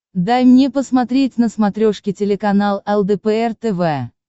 дай мне посмотреть на смотрешке телеканал лдпр тв